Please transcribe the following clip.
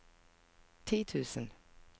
ti tusen